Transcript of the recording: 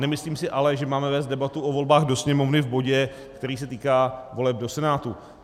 Nemyslím si ale, že máme vést debatu o volbách do Sněmovny v bodě, který se týká voleb do Senátu.